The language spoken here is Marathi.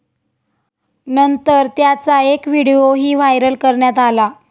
नंतर त्याचा एक व्हिडीओही व्हायरल करण्यात आला.